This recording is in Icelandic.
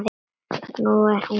Nú er hún látin.